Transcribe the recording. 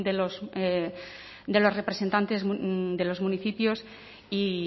de los representantes de los municipios y